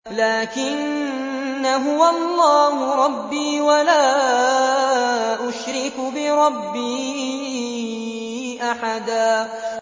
لَّٰكِنَّا هُوَ اللَّهُ رَبِّي وَلَا أُشْرِكُ بِرَبِّي أَحَدًا